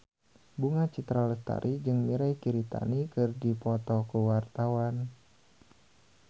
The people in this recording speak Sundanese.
Bunga Citra Lestari jeung Mirei Kiritani keur dipoto ku wartawan